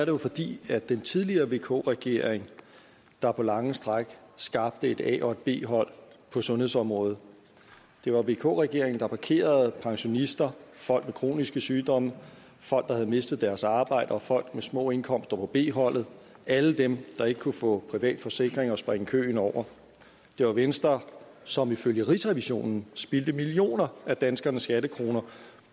jo fordi det er den tidligere vk regering der på lange stræk skabte et a og et b hold på sundhedsområdet det var vk regeringen der parkerede pensionister folk med kroniske sygdomme folk der havde mistet deres arbejde og folk med små indkomster på b holdet alle dem der ikke kunne få privat forsikring og springe køen over det var venstre som ifølge rigsrevisionen spildte millioner af danskernes skattekroner